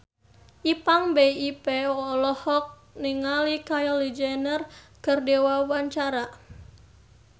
Ipank BIP olohok ningali Kylie Jenner keur diwawancara